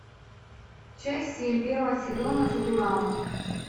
часть семь первого сезона футурама